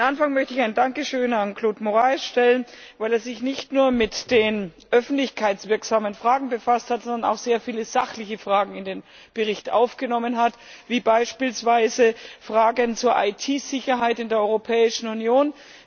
An den Anfang möchte ich ein Dankeschön an Claude Moraes stellen, weil er sich nicht nur mit den öffentlichkeitswirksamen Fragen befasst hat, sondern auch sehr viele sachliche Fragen in den Bericht aufgenommen hat, wie beispielsweise Fragen zur IT Sicherheit in der Europäischen Union.